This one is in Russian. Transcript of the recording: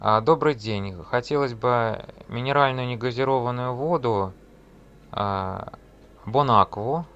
добрый день хотелось бы минеральную негазированную воду бонакву